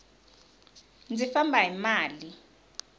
ndzi famba hi mali